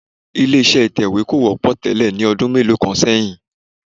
Ilé-iṣẹ́ ìtẹwé kò wọ́pọ̀ tẹ́lẹ̀ ní ọdún mélòó kan ṣẹ́yin